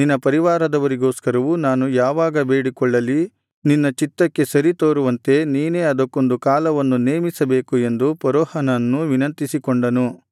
ನಿನ್ನ ಪರಿವಾರದವರಿಗೋಸ್ಕರವೂ ನಾನು ಯಾವಾಗ ಬೇಡಿಕೊಳ್ಳಲಿ ನಿನ್ನ ಚಿತ್ತಕ್ಕೆ ಸರಿ ತೋರುವಂತೆ ನೀನೇ ಅದಕ್ಕೊಂದು ಕಾಲವನ್ನು ನೇಮಿಸಬೇಕು ಎಂದು ಫರೋಹನನ್ನು ವಿನಂತಿಸಿಕೊಂಡನು